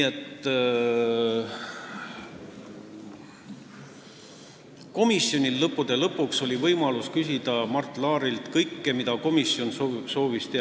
Komisjonil oli lõppude lõpuks võimalus küsida Mart Laarilt kõike, mida teada saada sooviti.